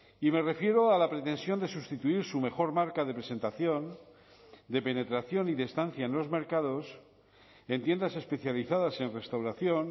y me refiero a la pretensión de sustituir su mejor marca de presentación de penetración y de estancia en los mercados en tiendas especializadas en restauración